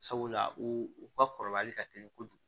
Sabula u ka kɔrɔbayali ka teli kojugu